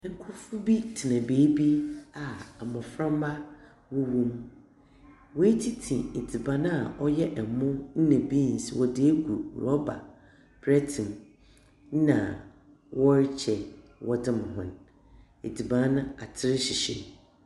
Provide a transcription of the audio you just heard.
Nkorɔfo bi tsena beebi a mbɔframba wɔwɔ mu. Woetsitsi edziban a ɔyɛ mo na beans wɔdze egu rɔba prɛɛtse mu na wɔrekyɛ wɔdze ma hɔ. edziban no, atser hyehyɛ mu.